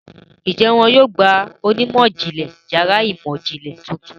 Ǹjẹ́ wọn yóò gba onímọ̀-ìjìnlẹ̀ yàrá ìmọ̀-ìjìnlẹ̀ tuntun?